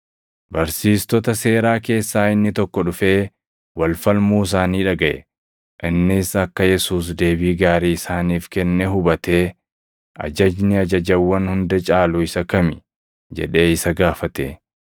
Barsiistota seeraa keessaa inni tokko dhufee wal falmuu isaanii dhagaʼe. Innis akka Yesuus deebii gaarii isaaniif kenne hubatee, “Ajajni ajajawwan hunda caalu isa kami?” jedhee isa gaafate.